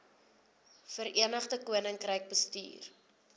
verenigde koninkryk bestuur